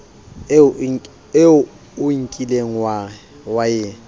eo o kileng wa e